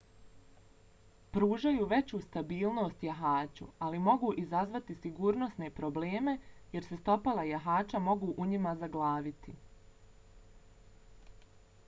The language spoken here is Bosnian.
pružaju veću stabilnost jahaču ali mogu izazvati sigurnosne probleme jer se stopala jahača mogu u njima zaglaviti